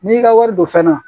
N'i ka wari don fɛn na